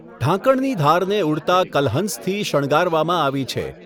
ઢાંકણની ધારને ઉડતા કલહંસથી શણગારવામાં આવી છે.